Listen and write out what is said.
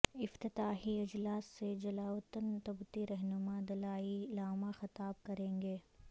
افتتاحی اجلاس سے جلاوطن تبتی رہنما دلائی لاما خطاب کریں گے